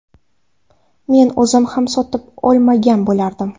Men o‘zim ham sotib olmagan bo‘lardim.